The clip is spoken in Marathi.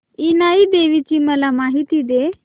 इनाई देवीची मला माहिती दे